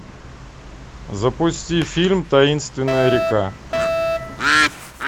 запусти фильм таинственная река